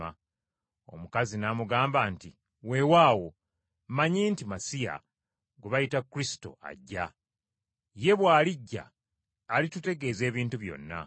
Omukazi n’amugamba nti, “Weewaawo, mmanyi nti Masiya, gwe bayita Kristo, ajja. Ye bw’alijja, alitutegeeza ebintu byonna.”